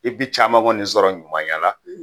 I bɛ caman kɔni sɔrɔ ɲumanya la